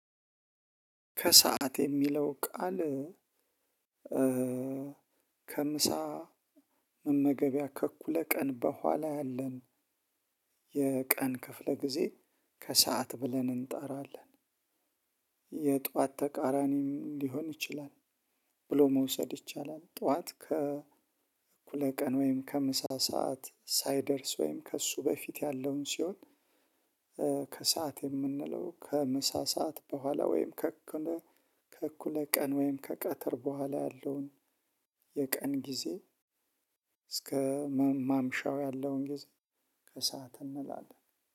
ከሰአት የሚለው ቃል ከምሳ መመገቢያ ከእኩለ ቀን በኋላ ያለን የቀን ክፍለ ጊዜ ከሰአት ብለን እንጣራለን የጧት ተቃራኒም ሊሆን ይችላል ብሎ መውሰድ ይቻላል። ጠዋት ከ እኩለ ቀን ወይም ከምሳ ሰዓት ሳይደርስ ወይም ከእሱ በፊት ያለውን ሲሆን። ከሰአት የምንለው ከምሳ ሰዓት በኋላ ወይም ከእኩለ ከእኩለ ቀን ወይም ከቀትር በኋላ ያለውን የቀን ጊዜ። እስከ ማምሻው ያለውን ጊዜ ከሰአት እንላለን።